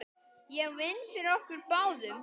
Ég vinn fyrir okkur báðum.